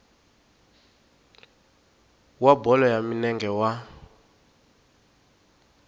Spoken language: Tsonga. wa bolo ya milenge wa